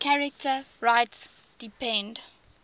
charter rights depend